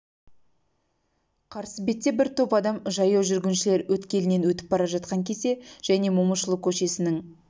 қарсы бетте бір топ адам жаяу жүргіншілер өткелінен өтіп бара жатқан кезде және момышұлы көшесінің